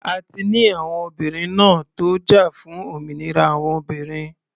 A ti ní àwọn obìnrin ńá tó jà fún òmìnira àwọn obìnrin.